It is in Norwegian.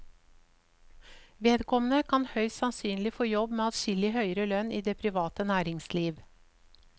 Vedkommende kan høyst sannsynlig få jobb med adskillig høyere lønn i det private næringsliv.